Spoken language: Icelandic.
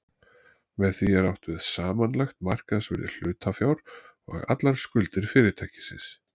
Með því er átt við samanlagt markaðsvirði hlutafjár og allar skuldir fyrirtækisins.